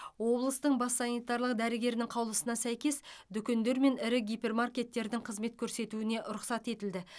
облыстың бас санитарлық дәрігерінің қаулысына сәйкес дүкендер мен ірі гипермаркеттердің қызмет көрсетуіне рұқсат етілді